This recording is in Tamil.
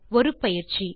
ஒரு பயிற்சி